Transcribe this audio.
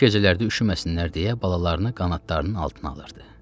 Soyuq gecələrdə üşüməsinlər deyə balalarını qanadlarının altına alırdı.